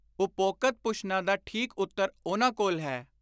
ਉਪੋਕਤ ਪੁਸ਼ਨਾਂ ਦਾ ਠੀਕ ਉੱਤਰ ਉਨ੍ਹਾਂ ਕੋਲ ਹੈ,